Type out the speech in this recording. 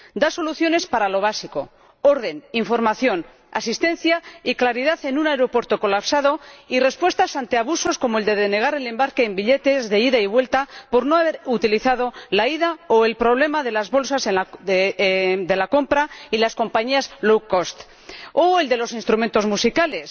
Da soluciones para lo básico —orden, información, asistencia y claridad en un aeropuerto colapsado— y respuestas ante abusos como el de denegar el embarque en billetes de ida y vuelta por no haber utilizado la ida, o el problema de las bolsas de la compra y las compañías de bajo coste, o el de los instrumentos musicales.